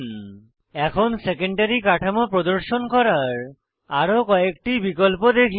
এখন প্রোটিনের সেকেন্ডারী কাঠামো প্রদর্শন করার আরো কয়েকটি বিকল্প দেখি